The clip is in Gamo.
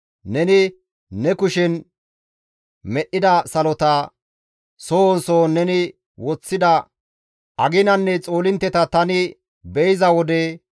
Neni ne kushen medhdhida salota, sohon sohon neni woththida aginanne xoolintteta tani be7iza wode,